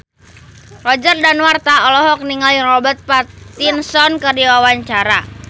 Roger Danuarta olohok ningali Robert Pattinson keur diwawancara